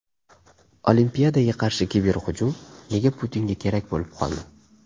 Olimpiadaga qarshi kiberhujum nega Putinga kerak bo‘lib qoldi?